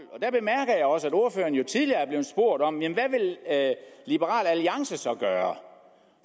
og også at ordføreren jo tidligere blev spurgt om hvad liberal alliance så vil gøre